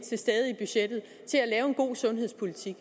god sundhedspolitik